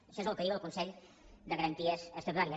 això és el que diu el consell de garanties estatutàries